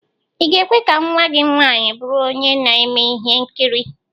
Ị ga-ekwe ka nnwa gị nwaanyị bụrụ onye na-eme ihe nkiri?